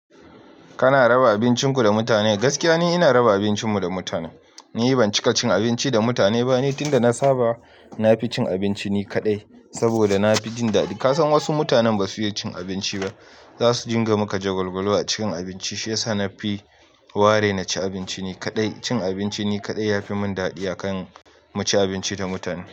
Kana raba abincinku da mutane. Gaskiya ni ina raba abincinmu da mutane. Ni ban cika cin abinci da mutane ba ni tunda na saba na fi cin abinci ni kadai, saboda na fi jin daɗi. Ka san wasu mutanen ba su iya cin abinci ba, za su jinga maka jagwalgwalo a cikin abinci, shi yasa na fi ware na ci abinci ni kadai. Cin abinci ni kadai ya fi mun daɗi akan mu ci abinci da mutane.